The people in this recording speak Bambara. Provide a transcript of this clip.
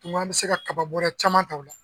N ko an bi se ka kaba bɔrɛ caman ta o la.